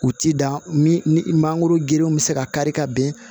U ti dan min ni mangoro gerenw bɛ se ka kari ka bin